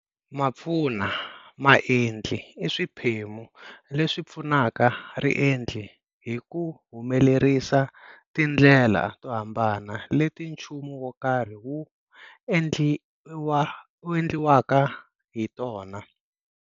Mapfunamaendli i swiphemu leswi pfunaka riendli hi ku humelerisa tindlela to hambana leti nchumu wo karhi wu endliwaka hi tona.